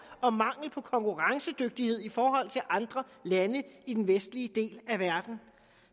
og mangel på konkurrencedygtighed i forhold til andre lande i den vestlige del af verden